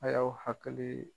A y'aw hakili